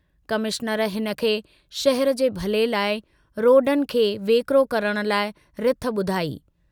Commissioner हिनखे शहर जे भले लाइ रोडनि खे वेकिरो करण लाइ रिथ बुधाई।